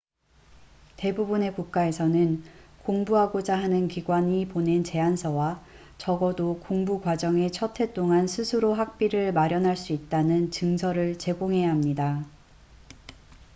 대부분의 국가에서는 공부하고자 하는 기관이 보낸 제안서와 적어도 공부 과정의 첫해 동안 스스로 학비를 마련할 수 있다는 증서를 제공해야 합니다